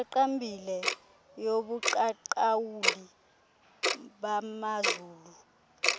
iqaqambileyo yobuqaqawuli bamazulu